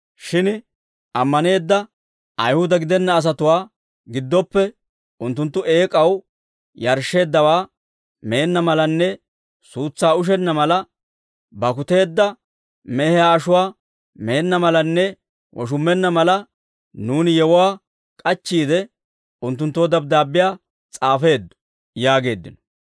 «Shin ammaneedda Ayihuda gidenna asatuwaa gidooppe, unttunttu eek'aw yarshsheeddawaa meenna malanne suutsaa ushenna mala, bakkuteedda mehiyaa ashuwaa meenna malanne woshummenna mala, nuuni yewuwaa k'achchiide, unttunttoo dabddaabbiyaa s'aafeeddo» yaageeddino.